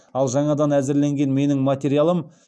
ал жаңадан әзірленген менің материалым